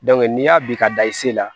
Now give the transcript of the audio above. n'i y'a bi ka da i se la